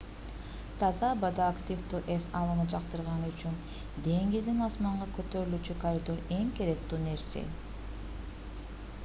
таза абада аквтивдүү эс алууну жактыргандар үчүн деңизден асманга көтөрүлүүчү коридор эң керектүү нерсе